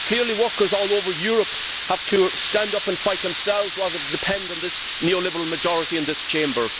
Clearly, workers all over Europe have to stand up and fight, themselves, rather than depend on this neo liberal majority in this Chamber.